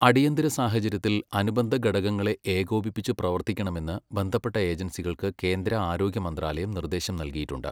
അടിയന്തരസാഹചര്യത്തില് അനുബന്ധഘടകങ്ങളെ ഏകോപിപ്പിപ്പ് പ്രവര്ത്തിക്കണമെന്ന് ബന്ധപ്പെട്ട ഏജന്സികള്ക്ക് കേന്ദ്ര ആരോഗ്യമന്ത്രാലയം നിര്ദേശം നല്കിയിട്ടുണ്ട്.